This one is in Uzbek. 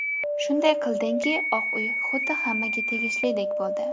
Shunday qildingki, Oq uy xuddi hammaga tegishlidek bo‘ldi.